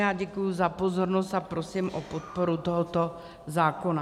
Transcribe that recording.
Já děkuji za pozornost a prosím o podporu tohoto zákona.